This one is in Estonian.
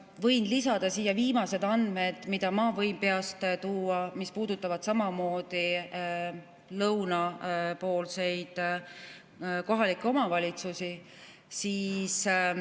Ma võin lisada siia viimased andmed – ma võin need peast tuua –, mis puudutavad samamoodi lõunapoolseid kohalikke omavalitsusi.